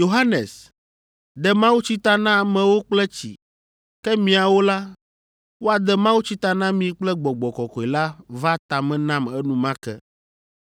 ‘Yohanes, de mawutsi ta na amewo kple tsi, ke miawo la, woade mawutsi ta na mi kple Gbɔgbɔ Kɔkɔe la’ va ta me nam enumake.